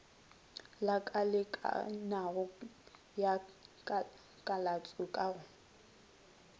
lakalekanago ya kalatšo ka go